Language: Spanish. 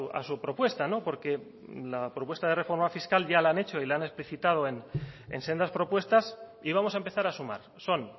a su propuesta porque la propuesta de reforma fiscal ya la han hecho y la han explicitado en sendas propuestas y vamos a empezar a sumar son